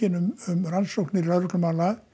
um rannsóknir lögreglumála